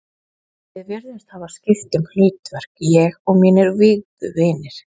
Við virðumst hafa skipt um hlutverk, ég og mínir vígðu vinir.